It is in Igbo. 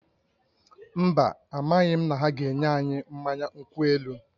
Mba, amaghị m na ha ga-enye anyị mmanya nkwụ elu